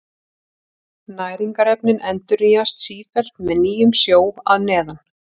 Næringarefnin endurnýjast sífellt með nýjum sjó að neðan.